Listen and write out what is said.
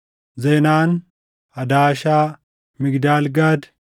Zenaan, Hadaashaa, Migdaal Gaad,